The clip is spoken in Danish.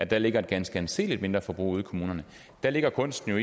der ligger et ganske anseligt mindreforbrug ude i kommunerne der ligger kunsten jo